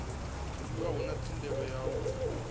dzuliwa hone thendelo yo tou